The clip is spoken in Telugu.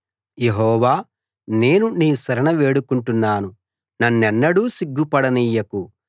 యెహోవా నేను నీ శరణు వేడుకుంటున్నాను నన్నెన్నడూ సిగ్గుపడనియ్యకు